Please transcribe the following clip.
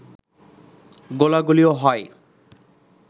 গোলাগুলিও হয়